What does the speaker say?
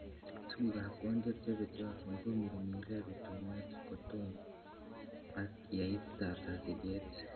Tugukab kondiet chebetiotin komirmire rutunet kotom ak yeiptata siget.